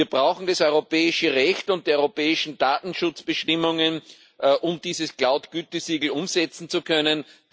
Wir brauchen das europäische Recht und die europäischen Datenschutzbestimmungen, um dieses Cloud Gütesiegel umsetzen zu können.